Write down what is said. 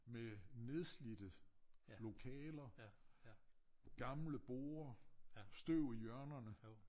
Med nedslidte lokaler gamle borde støv i hjørnerne